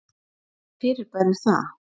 Hvaða fyrirbæri er það?